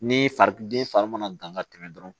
Ni fari den fari mana dan ka tɛmɛ dɔrɔn